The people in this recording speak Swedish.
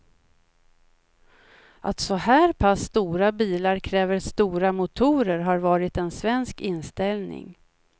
Att så här pass stora bilar kräver stora motorer har varit en svensk inställning.